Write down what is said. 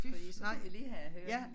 Fordi så ville jeg lige have hørt